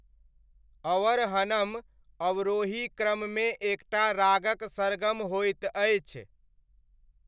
अवर्हनम अवरोही क्रममे एकटा रागक सरगम होइत अछि।